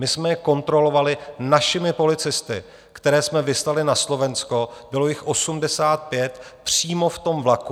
My jsme je kontrolovali našimi policisty, které jsme vyslali na Slovensko, bylo jich 85, přímo v tom vlaku.